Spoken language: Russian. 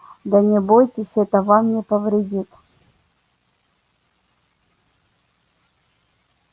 да не бойтесь это вам не повредит